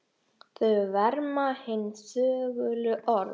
Þau verma hin þögulu orð.